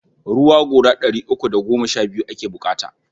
Ruwa gora ɗari uku da goma sha biyu ake buƙata.